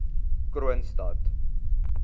kroonstad